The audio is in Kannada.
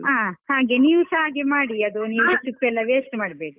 ಹಾ, ಹಾಗೆ ನೀವುಸ ಹಾಗೆ ಮಾಡಿ ಅದು ನೀವು ಸಿಪ್ಪೆ ಎಲ್ಲ waste ಮಾಡ್ಬೇಡಿ.